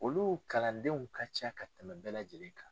Olu kalandenw ka ca ka tɛmɛ bɛɛ lajɛlen kan.